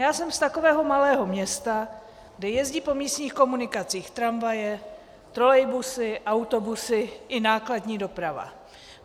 Já jsem z takového malého města, kde jezdí po místních komunikacích tramvaje, trolejbusy, autobusy i nákladní doprava.